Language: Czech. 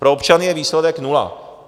Pro občany je výsledek nula.